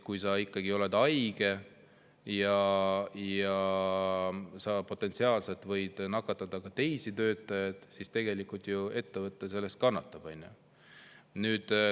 Kui sa ikkagi oled haige ja potentsiaalselt võid nakatada teisi töötajaid, siis tegelikult ettevõte selle tõttu ju kannatab.